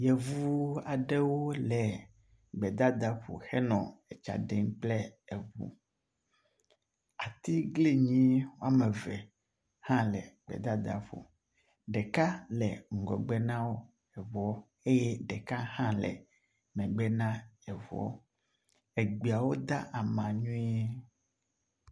Yevuwo aɖewo le gbedadaƒo henɔ etsaɖem kple eʋu, atiglinyi wiameve hã le gbedadaƒo, ɖeka le ŋgɔgbenawo eʋuɔ eyɛ ɖeka hã le megbe na eʋuɔ, egbeawo de ama nyuie